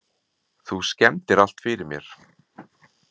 Þú skemmdir allt fyrir mér.